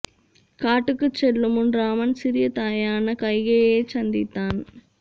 காட்டுக்குச் செல்லும் முன் ராமன் சிறிய தாயான கைகேயியைச் சந்தித்தான்